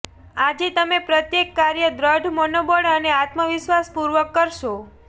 આજે તમે પ્રત્યેક કાર્ય દ્રઢ મનોબળ અને આત્મવિશ્વાસ પૂર્વક કરશો